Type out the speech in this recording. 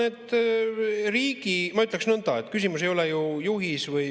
Ei, ma ütleksin nõnda, et küsimus ei ole ju juhis.